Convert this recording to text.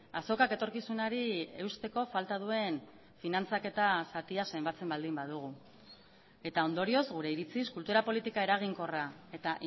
azokak etorkizunari eusteko falta duen finantzaketa zatia zenbatzen baldin badugu eta ondorioz gure iritziz kultura politika eraginkorra eta